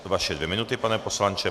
Vaše dvě minuty, pane poslanče.